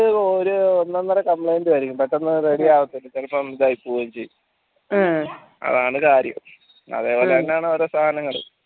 അത് ഒരു ഒന്നൊന്നര complaint ആയിരിക്കും പെട്ടെന്ന് ready യാവത്തില്ല ചിലപ്പോ ഇതായി പോവുകയും ചെയ്യും അതാണ് കാര്യം അതേപോലെതന്നെയാണോ ഓരോ സാധനങ്ങളും